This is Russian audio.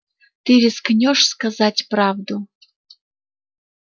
ты рискнёшь сказать правду